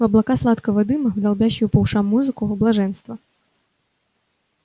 в облака сладкого дыма в долбящую по ушам музыку в блаженство